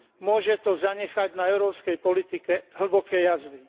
Môže to zanechať na európskej politike hlboké jazvy.